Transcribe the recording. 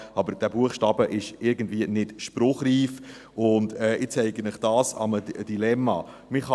Aber dieser Buchstabe ist irgendwie nicht spruchreif, und ich zeige Ihnen das an einem Dilemma auf.